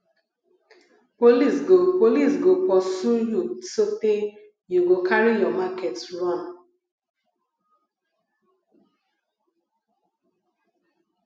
police go police go pursue you sotee you go carry your market run